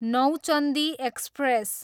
Nauchandi express